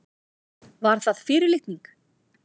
Var það fyrirlitning?